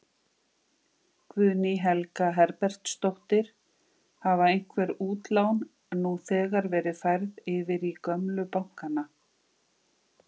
Guðný Helga Herbertsdóttir: Hafa einhver útlán nú þegar verið færð yfir í gömlu bankanna?